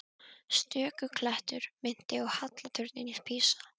Stöku klettur minnti á halla turninn í Písa.